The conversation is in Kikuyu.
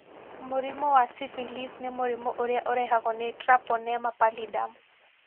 Mũrimũ wa syphilis nĩ murimũ ũrĩa ũrehagwo ni treponema pallidum